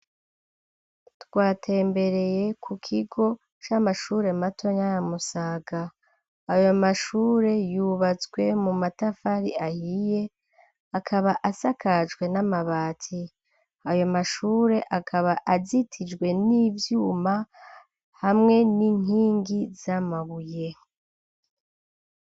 Twatembereye ku kigo c'amashure matonya ya Musaga ,ayo mashure yubatswe mu matafari ahiye ,akaba asakajwe n'amabati, ayo mashure akaba azitijwe n'ivyuma hamwe n'inkingi z'amabuye.